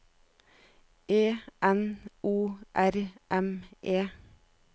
E N O R M E